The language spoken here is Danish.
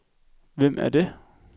Hvem er det